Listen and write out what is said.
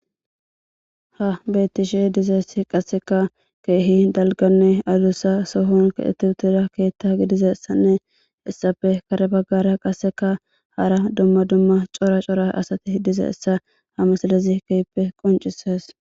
Ha betishe dizays qaseka keeh dalganne adusa sohon kexet utida keta Gidizaysanne hesappe kare bagara qaseka hara dumma dumma cora cora asati dizaysa ha misilez keehippe qoncises.